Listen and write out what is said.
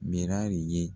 Mira ye